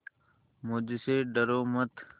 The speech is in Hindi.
मुझसे डरो मत